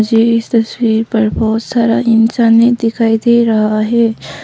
मुझे इस तस्वीर पर बहुत सारा इंसाने दिखाई दे रहा है।